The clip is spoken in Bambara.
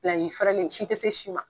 si fɛrɛlen si te se si ma.